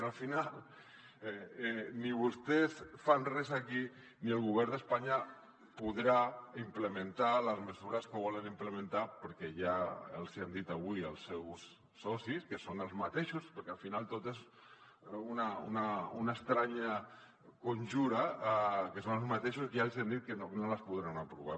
però al final ni vostès fan res aquí ni el govern d’espanya podrà implementar les mesures que volen implementar perquè ja els hi han dit avui els seus socis que són els mateixos perquè al final tot és una estranya conjura que no que no les podran aprovar